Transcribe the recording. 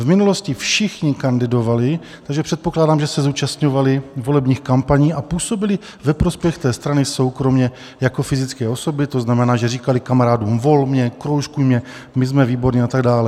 V minulosti všichni kandidovali, takže předpokládám, že se zúčastňovali volebních kampaní a působili ve prospěch té strany soukromě jako fyzické osoby, to znamená, že říkali kamarádům: Vol mě, kroužkuj mě, my jsme výborní a tak dále.